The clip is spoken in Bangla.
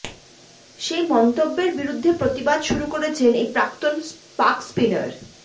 সেই মন্তব্যের বিরুদ্ধে প্রতিবাদ শুরু করেছেন এই প্রাক্তন পাক স্পিনার